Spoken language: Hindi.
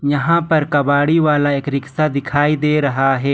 यहां पर कबाड़ी वाला एक रिक्शा दिखाई दे रहा है।